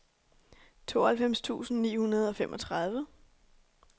tooghalvfems tusind ni hundrede og femogtredive